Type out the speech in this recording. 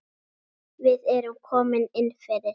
Við erum komin inn fyrir